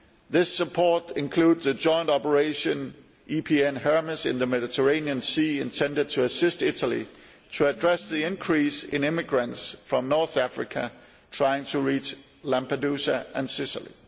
This support includes a joint operation, EPN Hermes, in the Mediterranean Sea, intended to assist Italy to address the increase in immigrants from North Africa trying to reach Lampedusa and Sicily.